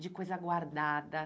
de coisa guardada.